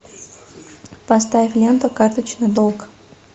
поставь ленту карточный долг